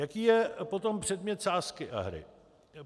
Jaký je potom předmět sázky a hry?